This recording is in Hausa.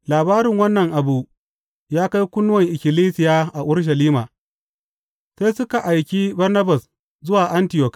Labari wannan abu ya kai kunnuwan ikkilisiya a Urushalima, sai suka aiki Barnabas zuwa Antiyok.